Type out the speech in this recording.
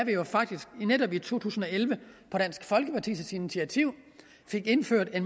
vi netop i to tusind og elleve på dansk folkepartis initiativ fik indført at